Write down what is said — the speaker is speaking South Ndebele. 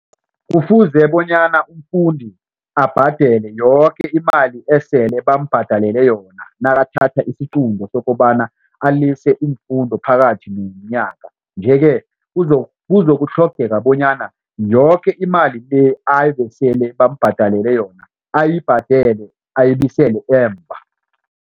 Kufuze bonyana umfundi abhadele yoke imali esele bambhadalele yona nakathatha isiqunto sokobana alise iimfundo phakathi nomnyanya. Nje ke kuzokutlhogeka bonyana yoke imali le ebesele bambhadalele yona ayibhadele ayibuyisele emva.